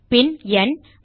பின் ந்